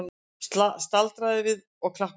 Staldraði við og klappaði!